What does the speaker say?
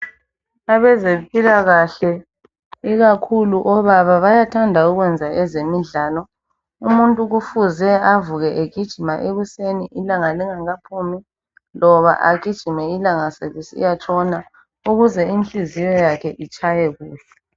Abezempilakahle ikakhulu obaba bayathanda ukwenza ezemidlalo umuntu kufuze avuke egijima ekuseni ilanga lingakaphumi loba agijime ilanga selisiya tshona ukuze inhliziyo yakhe itshaye kuhle.